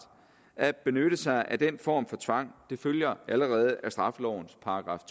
at benytte sig af den form for tvang det følger allerede af straffelovens §